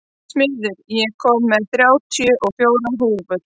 Smiður, ég kom með þrjátíu og fjórar húfur!